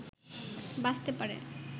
বাঁচতে পারে